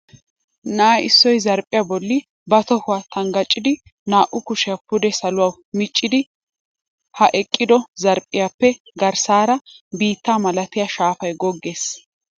Na"a issoy zarphphiya bolli ba tohuwa tanggacidi naa"u kushiya pude saluwawu micciis. Ha I eqqido zarphphiyappe garssaara biitta malatiya shaafay goggees.